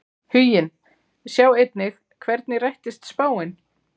Huginn Sjá einnig: Hvernig rættist spáin?